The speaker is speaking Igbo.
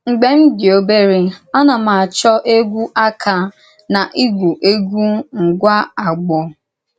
Mgbe m dị̀ òbèrè, a na m achọ̀ égwú àkà na ígwù égwú ngwá àgbọ̀.